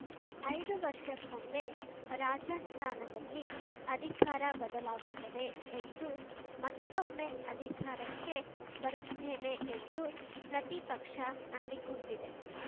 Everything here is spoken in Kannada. ಐದು ವರ್ಷಕ್ಕೊಮ್ಮೆ ರಾಜಸ್ಥಾನದಲ್ಲಿ ಅಧಿಕಾರ ಬದಲಾಗುತ್ತದೆ ಎಂದು ಮತ್ತೊಮ್ಮೆ ಅಧಿಕಾರಕ್ಕೆ ಬರುತ್ತೇವೆ ಎಂದು ಪ್ರತಿಪಕ್ಷ ನಂಬಿಕೊಂಡಿದೆ